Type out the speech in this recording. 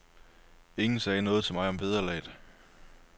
Ingen sagde noget til mig om vederlaget.